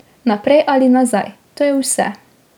Naprej ali nazaj, to je vse.